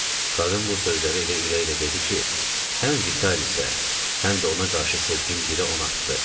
Qadın bu sözləri elə ürəklə dedi ki, həm Vitalisə, həm də ona qarşı sevgim birə on artdı.